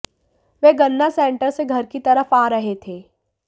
वह गन्ना सेंटर से घर की तरफ आ रहे थे